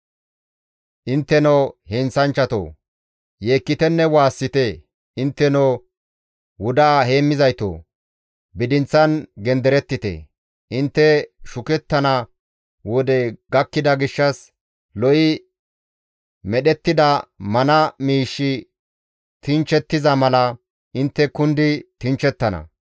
Intteno heenththanchchatoo! Yeekkitenne waassite. Intteno wudaa heemmizaytoo! bidinththan genderettite. Intte shukettana wodey gakkida gishshas lo7i medhettida mana miishshi tinchchettiza mala intte kundi tinchchettana.